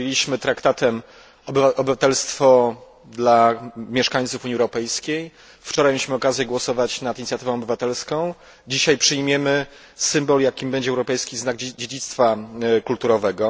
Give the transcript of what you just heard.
Przyjęliśmy traktatem obywatelstwo dla mieszkańców Unii Europejskiej, wczoraj mieliśmy okazję głosować nad inicjatywą obywatelską, dzisiaj przyjmiemy symbol, jakim będzie europejski znak dziedzictwa kulturowego.